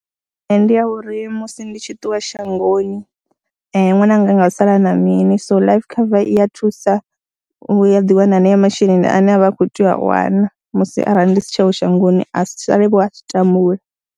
Ee, ndi ya uri musi ndi tshi ṱuwa shangoni ṅwananga a nga u sala a na mini so life cover i ya thusa, u ya ḓi wana haneyo masheleni ane a vha a khou tea u a wana musi arali ndi si tsheo shangoni a si salevho a tshi tambule.